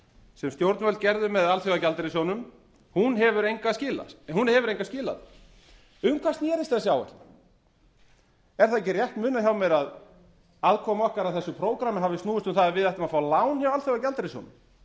sem stjórnvöld gerðu með alþjóðagjaldeyrissjóðnum hún hefur engu skilað um hvað snerist þessi áætlun er það ekki rétt munað hjá mér að aðkoma okkar að þessu prógrammi hafi snúist um það að við ættum að fá lán hjá alþjóðagjaldeyrissjóðnum en